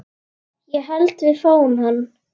Ég held við fáum hann.